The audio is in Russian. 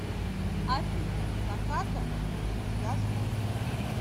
афина заката будет ясное небо